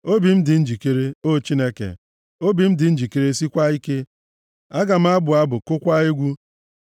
Obi m dị njikere, o Chineke, obi m dị njikere sikwaa ike; aga m abụ abụ, kụkwaa egwu.